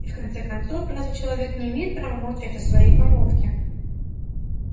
и в конце-концов разве человек не имеет права молчать о своей помолвке